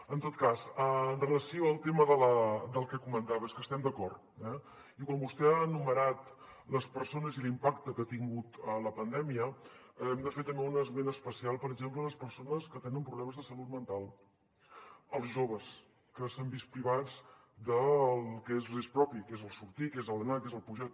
en tot cas amb relació al tema que comentava és que hi estem d’acord eh i quan vostè ha enumerat les persones i l’impacte que ha tingut la pandèmia hem de fer també un esment especial per exemple de les persones que tenen problemes de salut mental dels joves que s’han vist privats del que els hi és propi que és el sortir que és l’anar que és el pujar